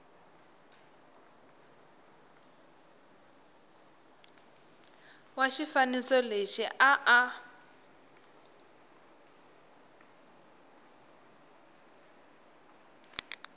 wa xifaniso lexi a a